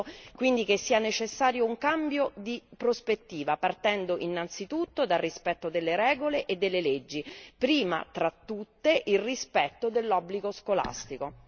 Credo quindi che sia necessario un cambio di prospettiva, partendo innanzitutto dal rispetto delle regole e delle leggi, prima fra tutte il rispetto dell'obbligo scolastico.